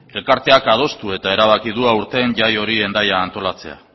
elkarteak adostu eta erabaki du aurten jai hori hendaian antolatzea